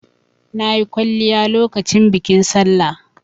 Na yi kwalliya lokacin bikin Sallah.